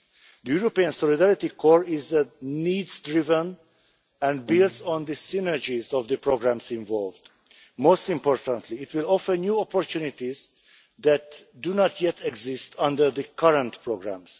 The European Solidarity Corps is needs driven and builds on the synergies of the programmes involved. Most importantly it will offer new opportunities that do not yet exist under the current programmes.